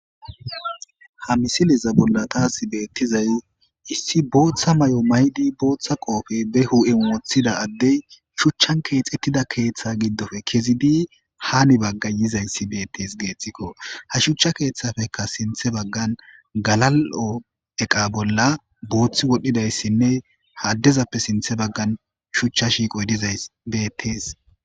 Ha misileza bolla taasi beettizay issi booththa may7o maydi booththa qoofe be hu7en woththida addey shuchchan keexettida keeththa giddofe kezi di haani bagga yizayssi beettes geeththikko ha shuchcha keeththafeka sinthe baggan galal7o eqa bolla booththi wodhdhidayssinne haaddezappe sinthe baggan shuchcha shiiqoy diza beettees.